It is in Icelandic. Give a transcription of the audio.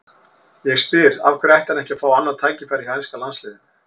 Ég spyr: Af hverju ætti hann ekki að fá annað tækifæri hjá enska landsliðinu?